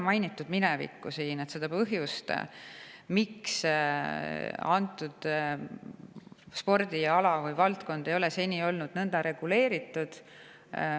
Minevikku, seda põhjust, miks antud spordiala või valdkond ei ole seni olnud nõnda reguleeritud, pole mainitud.